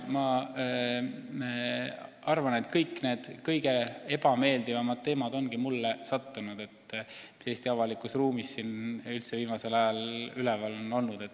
Paraku mulle on sattunud need kõige ebameeldivamad teemad, mis Eesti avalikus ruumis viimasel ajal üleval on olnud.